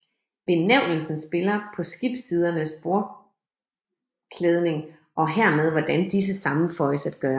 Benævnelsen spiller på skibssidernes bordklædning og hermed hvordan disse sammenføjes at gøre